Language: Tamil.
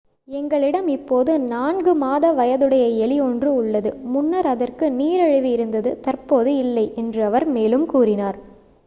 """எங்களிடம் இப்போது 4-மாத-வயதுடைய எலி ஒன்று உள்ளது முன்னர் அதற்கு நீரிழிவு இருந்தது தற்போது இல்லை" என்று அவர் மேலும் கூறினார்.